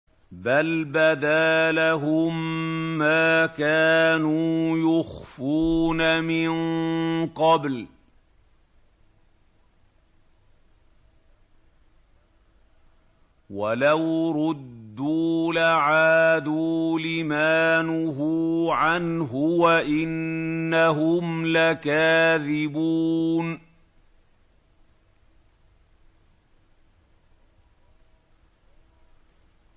بَلْ بَدَا لَهُم مَّا كَانُوا يُخْفُونَ مِن قَبْلُ ۖ وَلَوْ رُدُّوا لَعَادُوا لِمَا نُهُوا عَنْهُ وَإِنَّهُمْ لَكَاذِبُونَ